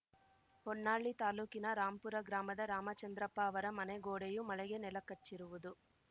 ಹೊನ್ನಾಳಿ ತಾಲೂಕಿನ ರಾಂಪುರ ಗ್ರಾಮದ ರಾಮಚಂದ್ರಪ್ಪ ಅವರ ಮನೆ ಗೋಡೆಯು ಮಳೆಗೆ ನೆಲಕಚ್ಚಿರುವುದು